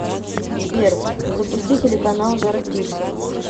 сбер запусти телеканал жар птица